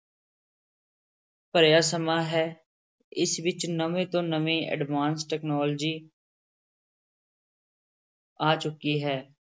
ਭਰਿਆ ਸਮਾਂ ਹੈ, ਇਸ ਵਿੱਚ ਨਵੇਂ ਤੋਂ ਨਵੇਂ advance technology ਆ ਚੁੱਕੀ ਹੈ।